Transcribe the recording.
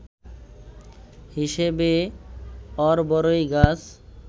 হিসেবে অরবড়ই গাছ